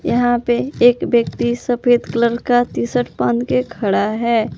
यहां पे एक व्यक्ति सफेद कलर का टी शर्ट पहन के खड़ा है।